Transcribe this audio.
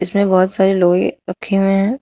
इसमे बहुत सारे लोहे रखे हुए है।